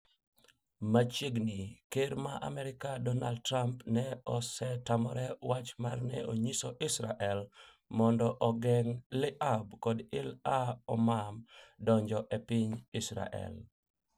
Machiegni ker ma Amerka Dornard Trump ne osetamre wach mar ne onyiso Israel mondo ogeng' Tlaib kod Ilah Oman donjo e piny Israel